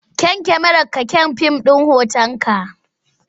Kyan kyamararka kyan fim hotonka.